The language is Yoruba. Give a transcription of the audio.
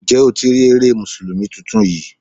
Ǹjẹ́ o ti rí eré Mùsùlùmí tuntun yí?